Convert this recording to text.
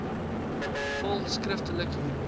volg skriftelik hierop